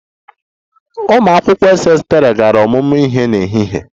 Ụmụ akwụkwọ Ss3 gara ọmụmụ ihe n'ehihie a?